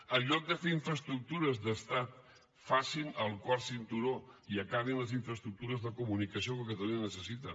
en lloc de fer infraestructures d’estat facin el quart cinturó i acabin les infraestructures de comunicació que catalunya necessita